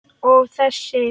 Og þessi?